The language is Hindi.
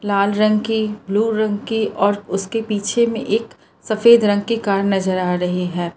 लाल रंग की ब्लू रंग की और उसके पीछे मे एक सफेद रंग के कार नजर आ रही है।